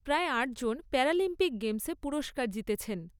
প্রায় আটজন প্যারালিম্পিক গেমসে পুরস্কার জিতেছেন।